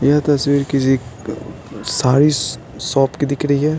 यह तस्वीर किसी -साड़ी -शॉप की दिख रही है।